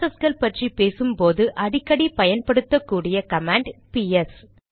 ப்ராசஸ்கள் பற்றி பேசும்போது அடிக்கடி பயன்படுத்தக் கூடிய கமாண்ட் பிஎஸ்